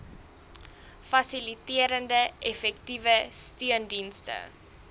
fasiliterende effektiewe steundienste